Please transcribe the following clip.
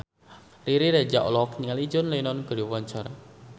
Riri Reza olohok ningali John Lennon keur diwawancara